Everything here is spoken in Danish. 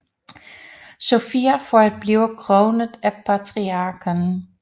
Sophia for at blive kronet af patriarken